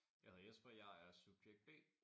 Jeg hedder Jesper jeg er subjekt B